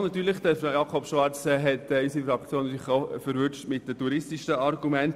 Mit den touristischen Argumenten hat Grossrat Schwarz unsere Fraktion natürlich auch erwischt.